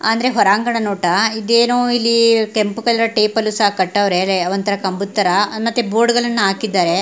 ಅಂದ್ರೆ ಹೊರಾಂಗಣ ನೋಟ ಇದೇನೊ ಇಲಿ ಕೆಂಪು ಕಲರ್ ಟೇಪ್ ಅಲ್ಲೂ ಸಹ ಕಟ್ಟವ್ರೆ ಒಂತರ ಕಂಬದ ತರ ಮತ್ತೆ ಬೋರ್ಡ್ ಗಳನ್ನೂ ಹಾಕಿದಾರೆ .